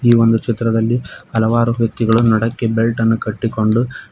ಈ ಒಂದು ಚಿತ್ರದಲ್ಲಿ ಹಲವಾರು ವ್ಯಕ್ತಿಗಳು ನಡಕ್ಕೆ ಬೆಲ್ಟ ನ್ನು ಕಟ್ಟಿಕೊಂಡು--